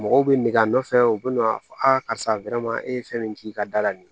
Mɔgɔw bɛ nege a nɔfɛ u bɛna a fɔ a karisa e ye fɛn min k'i ka da la